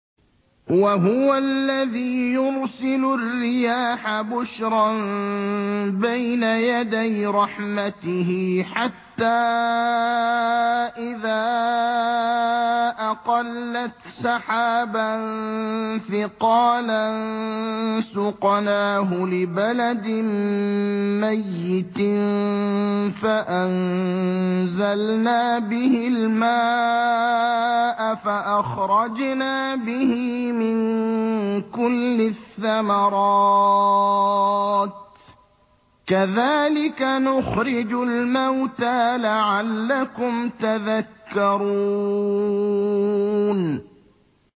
وَهُوَ الَّذِي يُرْسِلُ الرِّيَاحَ بُشْرًا بَيْنَ يَدَيْ رَحْمَتِهِ ۖ حَتَّىٰ إِذَا أَقَلَّتْ سَحَابًا ثِقَالًا سُقْنَاهُ لِبَلَدٍ مَّيِّتٍ فَأَنزَلْنَا بِهِ الْمَاءَ فَأَخْرَجْنَا بِهِ مِن كُلِّ الثَّمَرَاتِ ۚ كَذَٰلِكَ نُخْرِجُ الْمَوْتَىٰ لَعَلَّكُمْ تَذَكَّرُونَ